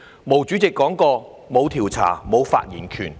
毛主席說過："沒有調查，沒有發言權。